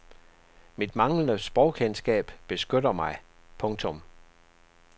Mit manglende sprogkendskab beskytter mig. punktum